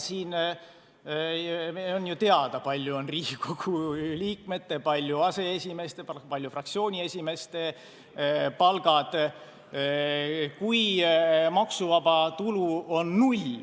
Meil on ju teada, kui suur on Riigikogu liikmete, kui suur aseesimeeste palk, kui suured on fraktsiooniesimeeste palgad.